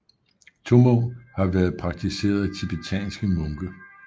Tummo har været praktiseret af tibetanske munke